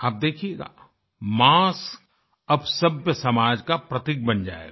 आप देखियेगा मास्क अब सभ्यसमाज का प्रतीक बन जायेगा